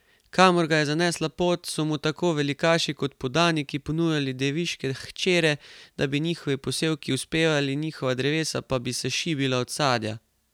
Kamor ga je zanesla pot, so mu tako velikaši kot podaniki ponujali deviške hčere, da bi njihovi posevki uspevali, njihova drevesa pa bi se šibila od sadja.